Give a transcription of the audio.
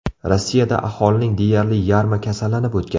Rossiyada aholining deyarli yarmi kasallanib o‘tgan.